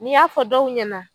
N y'a fɔ dɔw ɲɛna